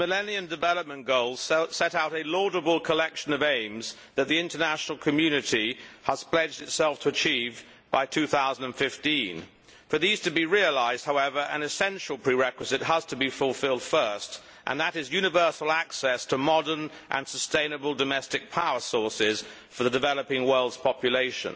Madam President, the Millennium Development Goals set out a laudable collection of aims that the international community has pledged itself to achieve by 2015. For these to be realised, however, an essential prerequisite has to be fulfilled first, and that is universal access to modern and sustainable domestic power sources for the developing world's population.